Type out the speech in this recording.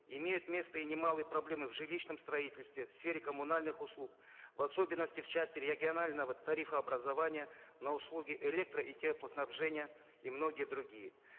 имеют место и немалые проблемы в жилищном строительстве в сфере коммунальных услуг в особенности в части регионального тарифообразования на услуги электро и теплоснабжения и многие другие